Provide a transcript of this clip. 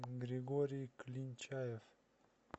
григорий клинчаев